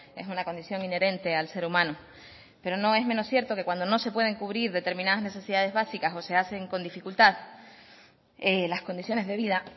es una condición inherente al ser humano pero no es menos cierto que cuando no se pueden cubrir determinadas necesidades básicas o se hacen con dificultad las condiciones de vida